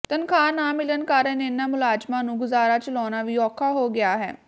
ਤਨਖ਼ਾਹ ਨਾ ਮਿਲਣ ਕਾਰਨ ਇਨ੍ਹਾਂ ਮੁਲਾਜ਼ਮਾਂ ਨੂੰ ਗੁਜ਼ਾਰਾ ਚਲਾਉਣਾ ਵੀ ਔਖਾ ਹੋ ਗਿਆ ਹੈ